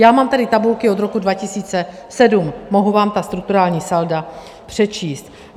Já mám tady tabulky od roku 2007, mohu vám ta strukturální salda přečíst.